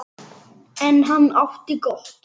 En hann átti gott.